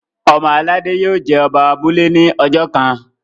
ọmọ aládé yio jé Oba abúlé ní ojó kán.